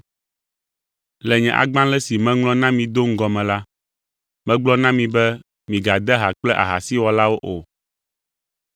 Le nye agbalẽ si meŋlɔ na mi do ŋgɔ me la, megblɔ na mi be migade ha kple ahasiwɔlawo o.